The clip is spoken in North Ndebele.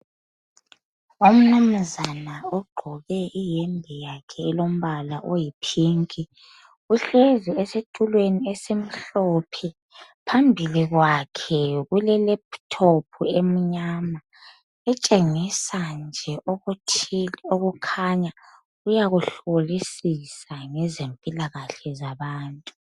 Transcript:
Umnumzana ugqoke iyembe yakhe eyipink uhlezi esitulweni esimhlophe. Phambi kwakhe kulelaptop emnyama okutshengisa ukuthi kukhona akuhlolisisa ngezimpilo zabantu.